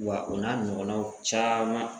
Wa o n'a ɲɔgɔnnaw caman